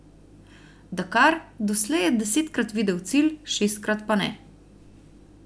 Dakar, doslej je desetkrat videl cilj, šestkrat pa ne.